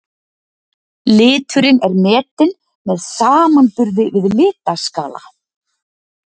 Liturinn er metinn með samanburði við litaskala.